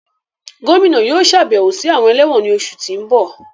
Gomina yóò ṣabẹwo si awọn ẹlẹwọn ni oṣu ti n bọ